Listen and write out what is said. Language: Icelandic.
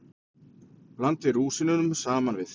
Blandið rúsínunum saman við.